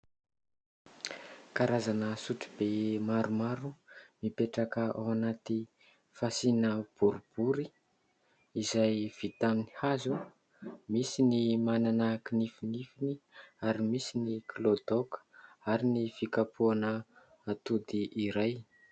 Karazana sotro be maromaro mipetraka ao anaty fasiana boribory izay vita amin'ny hazo, misy ny manana kinifinifiny ary misy ny kilaodaoka ary ny fikapohana atody iray.